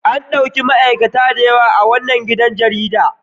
An ɗauki ma'aikata da yawa a wannan gidan jaridar.